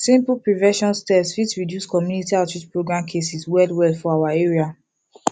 simple prevention steps fit reduce community outreach program cases well well for our area